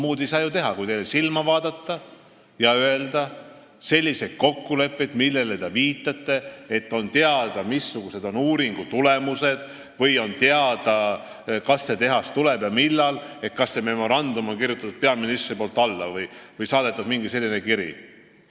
Ma ei saa ju muud teha kui teile silma vaadata ja öelda, et ei ole selliseid kokkuleppeid, millele te viitate, nagu oleks teada, missugused on uuringu tulemused, või oleks teada, kas ja millal see tehas tuleb, et see memorandum oleks peaministri poolt alla kirjutatud või mingi selline kiri saadetud.